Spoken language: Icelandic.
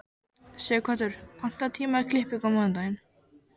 Sighvatur, pantaðu tíma í klippingu á mánudaginn.